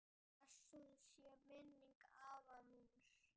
Blessuð sé minning afa míns.